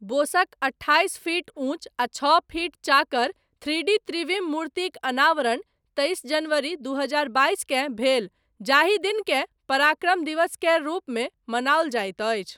बोसक, अट्ठाइस फीट ऊँच आ छओ फीट चाकर, थ्री डी त्रिविम मूर्तिक अनावरण, तैस जनवरी दू हजार बाइस केँ भेल, जाहि दिनकेँ पराक्रम दिवस केर रूपमे मनाओल जाइत अछि।